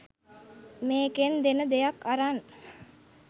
මේකෙන් දෙන දෙයක් අරන්